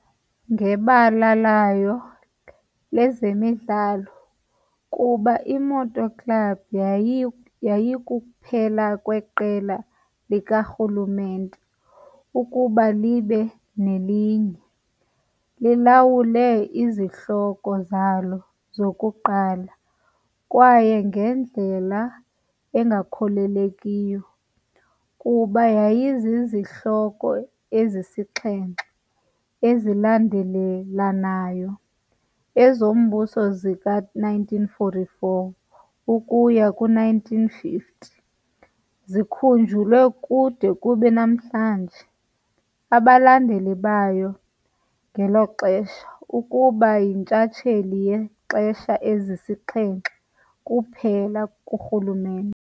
Ngebala layo lezemidlalo, kuba i-Moto Club yayikuphela kweqela likarhulumente ukuba libe nelinye, lilawule izihloko zalo zokuqala kwaye ngendlela engakholelekiyo, kuba yayizizihloko ezisixhenxe ezilandelelanayo, ezombuso zika-1944 ukuya ku-1950, zikhunjulwe kude kube namhlanje. abalandeli bayo ngelo xesha, Ukuba yintshatsheli yexesha ezisixhenxe kuphela kurhulumente.